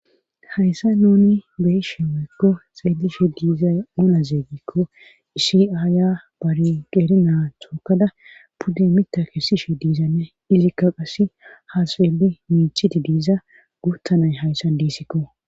Hayssa nuni beyishe weykko xeellishe diizay ona zeeygikko isiaya bari qeri naa tookada pudde mita kessishe diizanne ilikka qassi haaseeli miichidi diiza guuttanay hayssa diisikko.